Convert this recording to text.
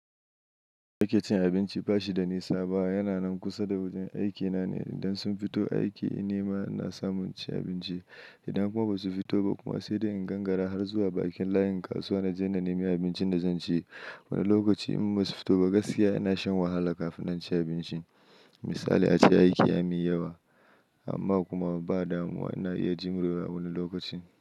Nake cin abinci ba shi da nisa ba, yana nan kusa da wajen aikina ne. Idan sun fito aiki, inni ma na samun ci abinci. Idan kuma ba su fito ba kuma sai da in gangara har zuwa bakin layin kasuwa na je na nemi abincin da zan ci. Wani lokaci in ba su fito ba gaskiya ina shan wahala kafin na ci abinci. Misali ace, aiki ya min yawa amma kuma ba damuwa na iya jimrewa wani lokaci.